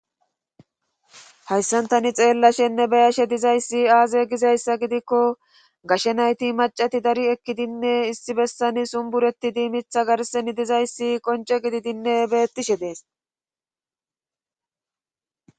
hayssan tani xeellashenne bayashe dizayssi aaze gizayssa gidikko gashe nayti macati dari ekkidinne issi bessani sumbureti diimitha garsen dizayssi qonce gididinne bettishe dees